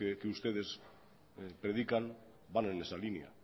que ustedes predican van en esa línea